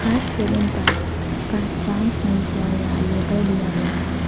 बाहर केबिन पर पहचान संख्या या लेबल दिया गया है।